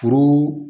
Foro